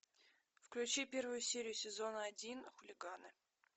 включи первую серию сезона один хулиганы